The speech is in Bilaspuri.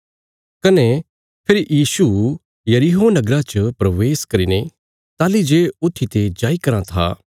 कने फेरी यीशु यरीहो नगरा च प्रवेश करीने ताहली जे ऊत्थीते जाई कराँ था